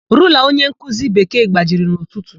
Rula onyenkuzi Bekee gbajiri n'ụtụtụ.